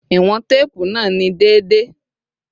Iwọn teepu naa ni deede